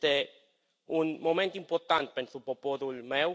Este un moment important pentru poporul meu.